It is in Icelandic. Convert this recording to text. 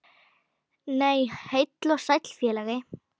Nei, heill og sæll félagi!